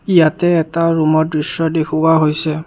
ইয়াতে এটা ৰুমৰ দৃশ্য দেখুওৱা হৈছে।